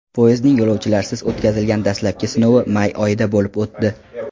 Poyezdning yo‘lovchilarsiz o‘tkazilgan dastlabki sinovi may oyida bo‘lib o‘tdi.